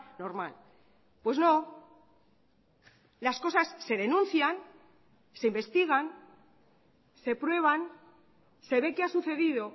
normal pues no las cosas se denuncian se investigan se prueban se ve qué ha sucedido